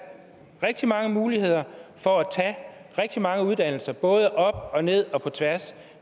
rigtig mange muligheder for at tage rigtig mange uddannelser både op og ned og på tværs